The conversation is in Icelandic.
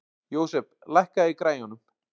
Jósep, lækkaðu í græjunum.